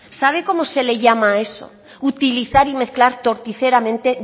sabe cómo se le llama a eso utilizar y mezclar torticeramente